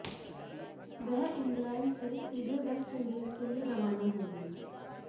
वह इंग्लैंड से सीधे वेस्टइंडीज के लिए रवाना होगी